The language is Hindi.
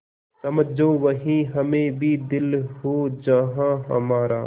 समझो वहीं हमें भी दिल हो जहाँ हमारा